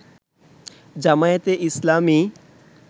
জামায়াতে ইসলামী